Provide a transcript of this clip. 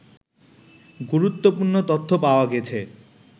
গুরুত্বপূর্ণ তথ্য পাওয়া গেছে